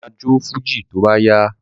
Bàbá ma jó fújì tó bá yá